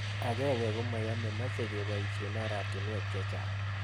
Ag'eng'e komayamei mache kepoishe oratinwek chechang'